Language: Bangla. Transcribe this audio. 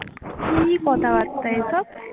কি কথাবার্তা এসব